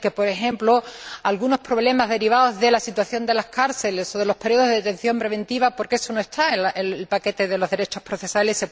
No van a poder resolverse, por ejemplo, algunos problemas derivados de la situación de las cárceles o de los periodos de detención preventiva, porque eso no está en el paquete de los derechos procesales.